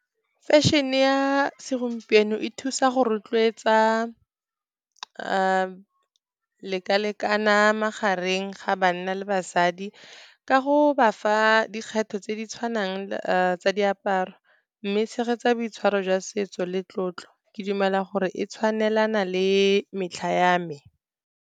Fashion-e ya segompieno e thusa go rotloetsa leka-lekana magareng ga banna le basadi ka go ba fa dikgetho tse di tshwanang tsa diaparo, mme e tshegetsa boitshwaro jwa setso le tlotlo. Ke dumela gore e tshwanelana le metlha ya me.